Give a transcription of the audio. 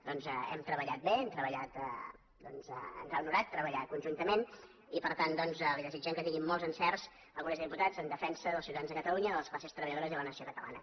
doncs hem treballat bé ens ha honorat treballar conjuntament i per tant li desitgem que tingui molts encerts al congrés dels diputats en defensa dels ciu·tadans de catalunya de les classes treballadores i la nació catalana